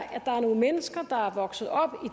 nogle mennesker der er vokset op